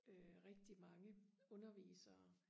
øh rigtig mange undervisere